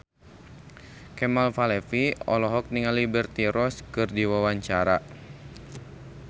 Kemal Palevi olohok ningali Liberty Ross keur diwawancara